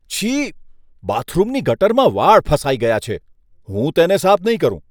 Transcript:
છી! બાથરૂમની ગટરમાં વાળ ફસાઈ ગયા છે. હું તેને સાફ નહીં કરું.